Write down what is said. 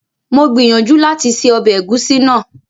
Mo gbìyànjú láti ṣe ọbẹ̀ ẹ̀gúsí náà